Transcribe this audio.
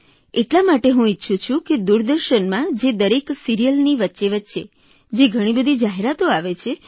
એટલા માટે હું ઇચ્છું છું કે દુરદર્શનમાં જે દરેક સિરીયલની વચ્ચે વચ્ચે જે ઘણીબધી જાહેરાતો આવે છે